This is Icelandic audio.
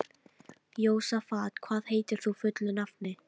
Jósafat, hvað heitir þú fullu nafni?